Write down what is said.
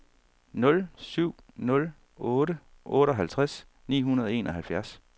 nul syv nul otte otteoghalvtreds ni hundrede og enoghalvfjerds